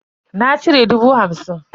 Na cire dubu hamsin.